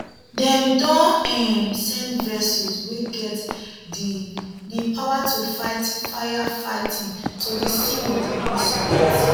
dem don um send vessels wey get di di power to fight firefighting to di scene of di incident